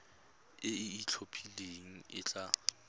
e e itlhophileng e tla